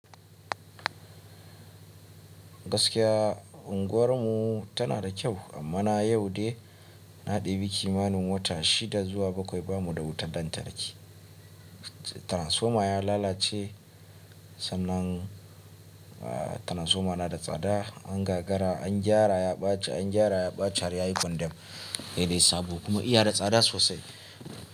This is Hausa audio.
Gaskiya unguwarmu tana da kyau amma na yau dai na ɗebi kimanin wata shida zuwa bakwai bamu da wutar lantarki. Transfoma ya lalace sannan transfoma na da tsada, angagara an gyara ya ɓace, an gyara ya ɓace har ya yi kwandem, ya dai sabo kuma ya da tsada sosai.